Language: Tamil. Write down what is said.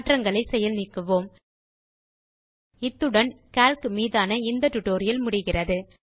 மாற்றங்களை செயல் நீக்குவோம் இத்துடன் கால்க் மீதான இந்த டியூட்டோரியல் முடிகிறது